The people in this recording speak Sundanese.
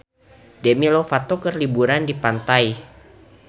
Demi Lovato keur liburan di pantai